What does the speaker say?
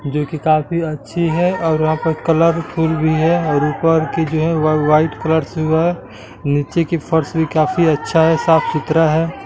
यह किताब भी अच्छी है और वहां पर कलरफुल भी है और ऊपर की जो है वह वाइट कलर से हुआ नीचे की फोर्स भी काफी अच्छा है साफ सुथरा है।